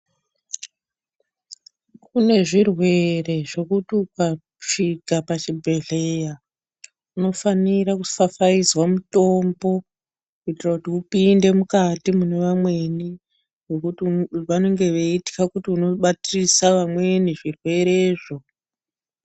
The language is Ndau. Kune zvirwere zvokuti ukasvika pachibhedhleya unofanira kufafaidzwa mutombo. Kuitira kuti upinde mukati mune vamweni nekuti vanenge veitwa kuti unobatirisa vamweni zvirwerezvo.